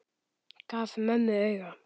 Gaf mömmu auga.